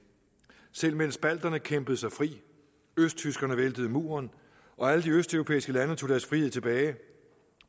selv mens balterne kæmpede sig fri østtyskerne væltede muren og alle de østeuropæiske lande tog deres frihed tilbage